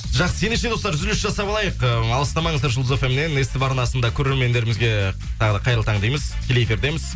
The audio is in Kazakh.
жақсы ендеше достар үзіліс жасап алайық э алыстаманыздар жұлдыз фм нен ств арнасында көрермендерімізге тағы да қайырлы таң дейміз тікелей эфирдеміз